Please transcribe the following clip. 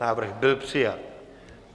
Návrh byl přijat.